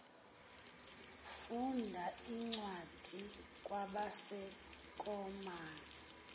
funda incwadi kwabaseroma